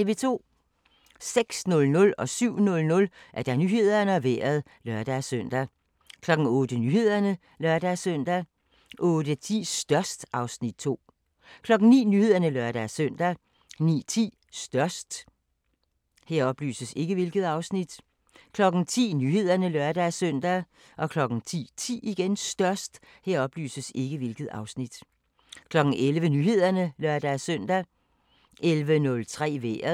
06:00: Nyhederne og Vejret (lør-søn) 07:00: Nyhederne og Vejret (lør-søn) 08:00: Nyhederne (lør-søn) 08:10: Størst (Afs. 2) 09:00: Nyhederne (lør-søn) 09:10: Størst 10:00: Nyhederne (lør-søn) 10:10: Størst 11:00: Nyhederne (lør-søn) 11:03: Vejret